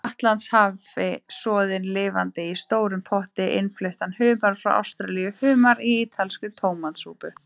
Atlantshafi, soðinn lifandi í stórum potti, innfluttan humar frá Ástralíu, humar í ítalskri tómatsúpu.